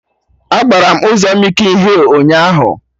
Agbara m ụzọ mịkin hịl ụnyaahụ